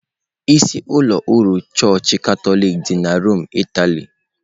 Isi ụlọ ọrụ Chọọchị Katọlik dị na Rome, Italy.